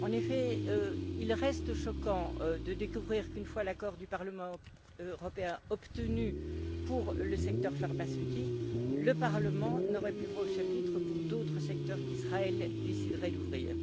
En effet, il reste choquant de découvrir qu'une fois l'accord du Parlement européen obtenu pour le secteur pharmaceutique, le Parlement n'aurait plus voix au chapitre pour d'autres secteurs qu'Israël déciderait d'ouvrir.